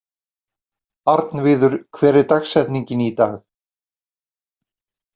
Arnviður, hver er dagsetningin í dag?